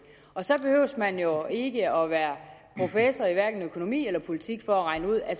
så behøver man jo ikke at være professor i hverken økonomi eller politik for at regne ud at